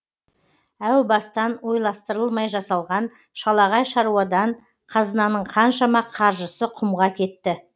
әу бастан ойластырылмай жасалған шалағай шаруадан қазынаның қаншама қаржысы құмға кетті